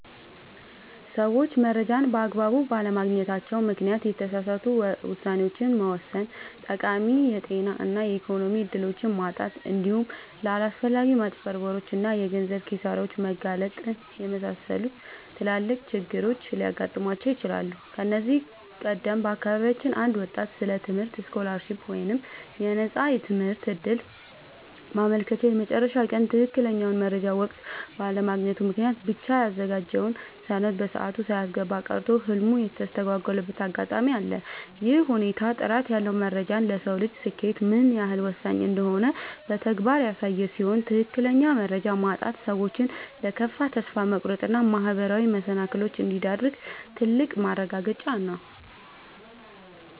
ሰዎች መረጃን በአግባቡ ባለማግኘታቸው ምክንያት የተሳሳቱ ውሳኔዎችን መወሰን፣ ጠቃሚ የጤና እና የኢኮኖሚ እድሎችን ማጣት፣ እንዲሁም ለአላስፈላጊ ማጭበርበሮች እና የገንዘብ ኪሳራዎች መጋለጥን የመሰሉ ትላልቅ ችግሮች ሊገጥሟቸው ይችላሉ። ከዚህ ቀደም በአካባቢያችን አንድ ወጣት ስለ ትምህርት ስኮላርሺፕ (የነፃ ትምህርት ዕድል) ማመልከቻ የመጨረሻ ቀን ትክክለኛውን መረጃ በወቅቱ ባለማግኘቱ ምክንያት ብቻ ያዘጋጀውን ሰነድ በሰዓቱ ሳያስገባ ቀርቶ ህልሙ የተስተጓጎለበት አጋጣሚ አለ። ይህ ሁኔታ ጥራት ያለው መረጃ ለሰው ልጅ ስኬት ምን ያህል ወሳኝ እንደሆነ በተግባር ያሳየ ሲሆን፣ ትክክለኛ መረጃ ማጣት ሰዎችን ለከፋ ተስፋ መቁረጥ እና ማህበራዊ መሰናክሎች እንደሚዳርግ ትልቅ ማረጋገጫ ነው።